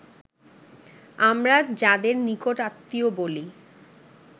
আমরা যাদের নিকট-আত্মীয় বলি